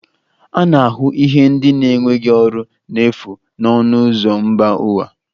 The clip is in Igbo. A na-ahụ ihe ndị na-enweghị ọrụ n'efu na ọnụ ụzọ mba ụwa